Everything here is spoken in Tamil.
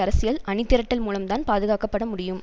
அரசியல் அணிதிரட்டல் மூலம்தான் பாதுகாக்கப்பட முடியும்